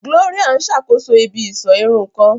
Gloria n sakoso ibi-iṣọ irun kan.